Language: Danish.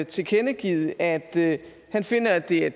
tilkendegivet at han finder at det er